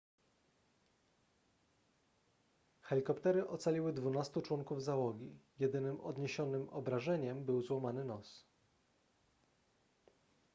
helikoptery ocaliły dwunastu członków załogi jedynym odniesionym obrażeniem był złamany nos